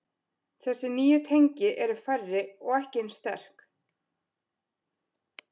Þessi nýju tengi eru færri og ekki eins sterk.